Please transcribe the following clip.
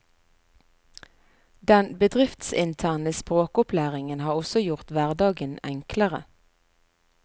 Den bedriftsinterne språkopplæringen har også gjort hverdagen enklere.